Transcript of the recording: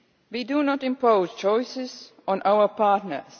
We do not impose choices on our partners.